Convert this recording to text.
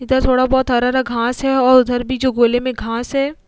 इधर थोड़ा बोहोत हरा-हरा घास है और उधर भी जो गोले में घास है।